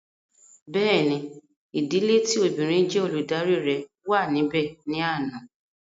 Bẹ́ẹ̀ni, ìdílé tí obìnrin jé Olùdarí rẹ̀ wà níbè ní àná